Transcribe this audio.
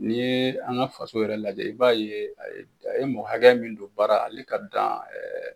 N'i ye an ka faso yɛrɛ lajɛ i b'a ye a ye a ye mɔgɔ hakɛ min don baara, hale ka dan